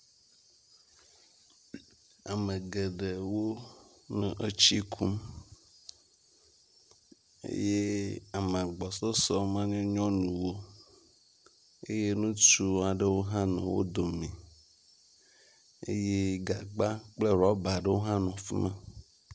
Ame geɖewo le nɔ tsi kum eye ame gbɔsɔsɔ nye nyɔnuwo eye ŋutsu aɖewo hã nɔ wo dome eye gagba kple rɔba aɖewo hã nɔ afi ma.